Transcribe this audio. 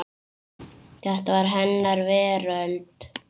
Þetta var hennar veröld.